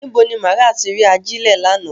Nibo ni Maria ti ri ajilẹ lánà?